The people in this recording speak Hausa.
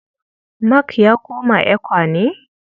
Mark ya koma ECWA ne?